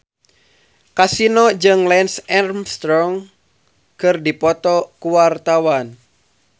Kasino jeung Lance Armstrong keur dipoto ku wartawan